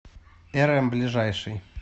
эрэм ближайший